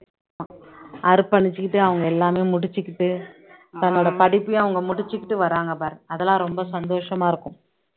அர்ப்பணிச்சுக்கிட்டு அவங்க எல்லாமே முடிச்சுக்கிட்டு தன்னோட படிப்பையும் அவங்க முடிச்சுக்கிட்டு வர்றாங்க பாரு அதெல்லாம் ரொம்ப சந்தோஷமா இருக்கும்